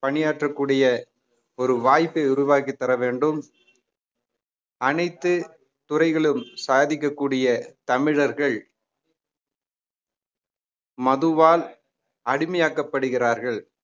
பணியாற்றக் கூடிய ஒரு வாய்ப்பை உருவாக்கித் தர வேண்டும் அனைத்து துறைகளும் சாதிக்கக்கூடிய தமிழர்கள் மதுவால் அடிமையாக்கப்படுகிறார்கள்